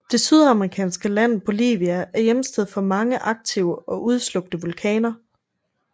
Det sydamerikanske land Bolivia er hjemsted for mange aktive og udslukte vulkaner